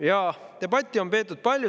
Jaa, debatti on peetud palju.